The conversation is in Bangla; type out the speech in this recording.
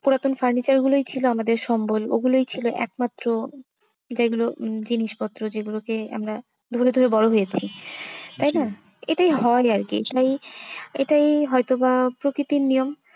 পুরাতন furniture গুলোই ছিল আমাদের সম্বল। ওগুলোই ছিল একমাত্র যেগুলো জিনিস পত্র যে গুলোকে আমরা যেগুলো দেখে বড়ো হয়েছি। তাই না, এটাই হয় আরকি। এটাই হয়তো বা প্রকৃতির নিয়ম।